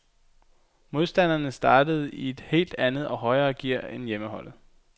Modstanderne startede i et helt andet og højere gear end hjemmeholdet.